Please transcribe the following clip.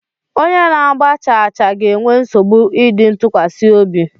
Onye na-agba chaachaa ga-enwe nsogbu ịdị ntụkwasị obi